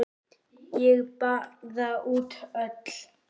Ég baða út öll